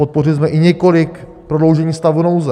Podpořili jsme i několik prodloužení stavu nouze.